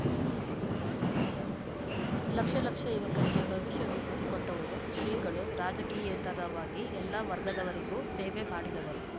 ಲಕ್ಷ ಲಕ್ಷ ಯುವಕರಿಗೆ ಭವಿಷ್ಯ ರೂಪಿಸಿ ಕೊಟ್ಟವರು ಶ್ರೀಗಳು ರಾಜಕೀಯೇತರವಾಗಿ ಎಲ್ಲ ವರ್ಗದವರಿಗೂ ಸೇವೆ ಮಾಡಿದವರು